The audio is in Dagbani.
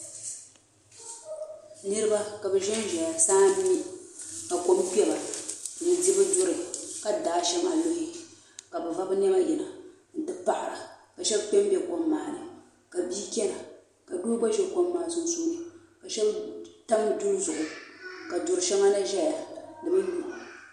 niraba ka bi ʒɛnʒɛya saa n mi ka kom kpɛba n di bi duri ka daai shɛŋa luhi ka bi va niɛma yina n ti paɣara ka shab kpɛ n ʒɛ kom maa ni ka bia chɛna ka doo gba ʒi kom maa sunsuuni shab tam duri zuɣu ka du shɛŋa na ʒɛya di bi lu